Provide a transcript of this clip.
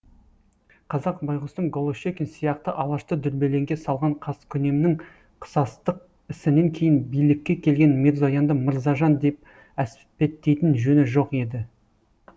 қазақ байғұстың голошекин сияқты алашты дүрбелеңге салған қаскүнемнің қысастық ісінен кейін билікке келген мирзоянды мырзажан деп әспеттейтін жөні жоқ еді